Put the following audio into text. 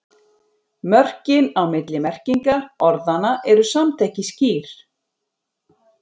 Mörkin á milli merkinga orðanna eru samt ekki skýr.